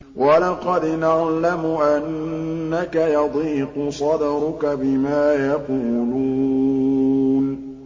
وَلَقَدْ نَعْلَمُ أَنَّكَ يَضِيقُ صَدْرُكَ بِمَا يَقُولُونَ